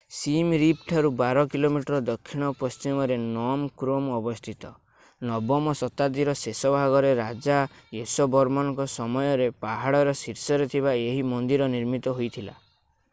sim Reap ଠାରୁ 12 km ଦକ୍ଷିଣ-ପଶ୍ଚିମରେ Phnom Krom ଅବସ୍ଥିତ 9ମ ଶତାବ୍ଦୀର ଶେଷ ଭାଗରେ ରାଜା ୟଶୋବର୍ମନଙ୍କ ସମୟରେ ପାହାଡର ଶୀର୍ଷରେ ଥିବା ଏହି ମନ୍ଦିର ନିର୍ମିତ ହୋଇଥିଲା